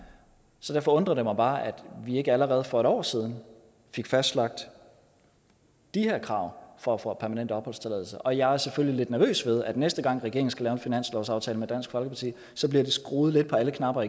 derfor undrer det mig bare at vi ikke allerede for et år siden fik fastlagt de her krav for at få permanent opholdstilladelse og jeg er selvfølgelig lidt nervøs ved at der næste gang regeringen skal lave en finanslovsaftale med dansk folkeparti bliver skruet lidt på alle knapper